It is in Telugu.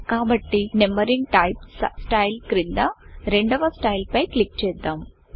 కాబట్టి నంబరింగ్ typeనంబరింగ్ టైప్ స్టైల్ క్రింద రెండవ స్టైల్ పై క్లిక్ చేద్దాం